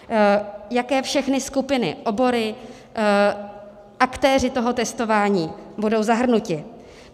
Jaké všechny skupiny, obory, aktéři toho testování budou zahrnuti.